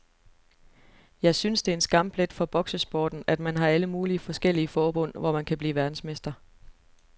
Jeg synes det er en skamplet for boksesporten, at man har alle mulige forskellige forbund, hvor man kan blive verdensmester.